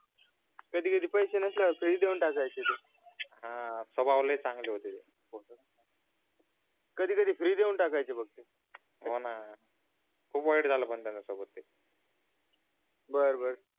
कधी कधी पैसे नसल्यावर फ्री देऊन टाकायचे ते हा स्वभाव लय चांगले होते ते कधी कधी फ्री देऊन टाकायचे बघ ते होणा खूप वाईट झाल पण त्यांच्या सोबत ते बर बर